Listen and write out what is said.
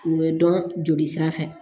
U bɛ dɔn jolisira fɛ